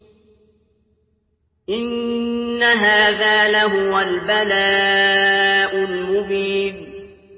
إِنَّ هَٰذَا لَهُوَ الْبَلَاءُ الْمُبِينُ